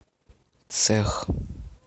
цех